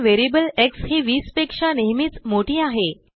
पणvariable xहि20पेक्षानेहमीचमोठी आहे